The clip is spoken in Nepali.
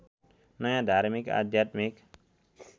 नयाँ धार्मिक आध्यात्मिक